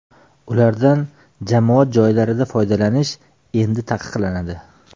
Ulardan jamoat joylarida foydalanish endi taqiqlanadi.